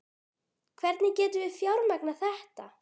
Hvernig getum við fjármagnað þetta?